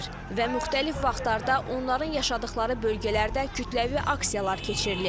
Və müxtəlif vaxtlarda onların yaşadıqları bölgələrdə kütləvi aksiyalar keçirilib.